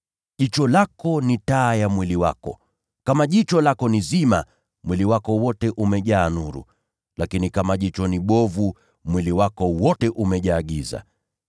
Jicho lako ni taa ya mwili wako. Kama jicho lako ni zima, mwili wako wote pia umejaa nuru. Lakini kama jicho ni bovu, mwili wako wote pia umejaa giza.